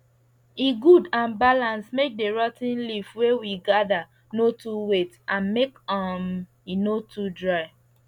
e good and balance make the rot ten leaf wey we gather no too wet and make um e no too dry